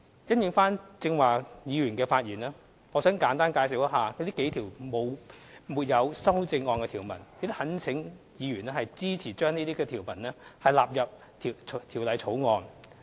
因應剛才議員的發言，我想簡單介紹以下數項沒有修正案的條文，並懇請委員支持將這些條文納入《2017年印花稅條例草案》。